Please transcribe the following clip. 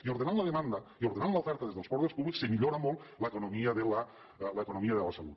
i ordenant la demanda i ordenant l’oferta des dels poders públics es millora molt l’economia de la salut